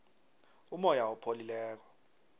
umoya opholileko